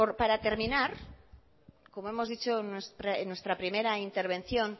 para terminar como hemos dicho en nuestra primera intervención